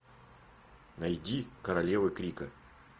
найди королевы крика